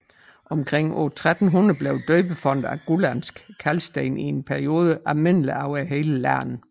Omkring år 1300 blev døbefonte af gullandsk kalksten i en periode almindelige over hele landet